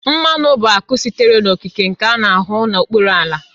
Mmanụ bụ akụ sitere n'okike nke a na-ahụ n'okpuru ala